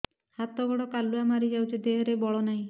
ହାତ ଗୋଡ଼ କାଲୁଆ ମାରି ଯାଉଛି ଦେହରେ ବଳ ନାହିଁ